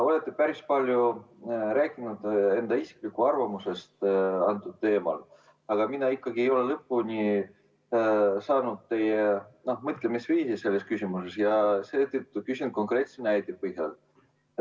Olete päris palju rääkinud enda isiklikust arvamusest sel teemal, aga mina ikkagi ei ole lõpuni aru saanud teie mõtlemisviisist selles küsimuses ja seetõttu küsin konkreetse näite põhjal.